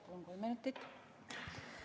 Palun kolm minutit juurde!